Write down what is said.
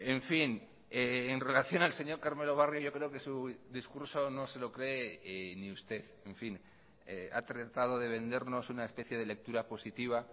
en fin en relación al señor carmelo barrio yo creo que su discurso no se lo cree ni usted en fin ha tratado de vendernos una especie de lectura positiva